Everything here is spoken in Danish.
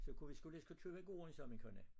Så kunne vi sgu lige så godt købe gården sagde min kone